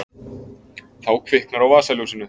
Þá kviknar á vasaljósinu.